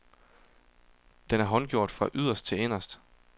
Den er håndgjort fra yderst til inderste.